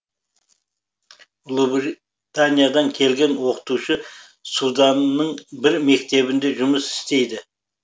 ұлыбританиядан келген оқытушы суданның бір мектебінде жұмыс істейді